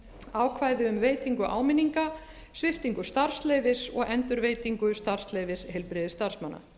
ákvæði um veitingu áminninga sviptingu starfsleyfis og endurveitingu starfsleyfis heilbrigðisstarfsmanna